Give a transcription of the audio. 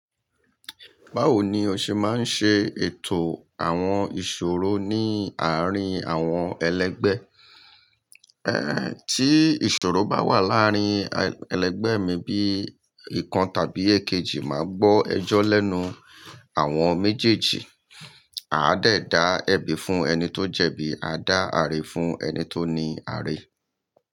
Báwo ni o ṣe máa ń ṣe ètò àwọn ìṣòro ní àárín àwọn ẹlẹgbẹ́? Tí ìṣòro bá wà láàrin ẹlẹgbẹ́ mi bí ìkan tàbí èkejì, màá gbọ́ ẹjọ́ lẹ́nu àwọn méjèèjì. A a dẹ̀ dá ẹ̀bi fún ẹni tó jẹ̀bi, a dá aare fún ẹni tó ní aare.